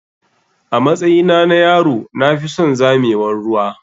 Amatsyina na yaro na fison zamewar ruwa.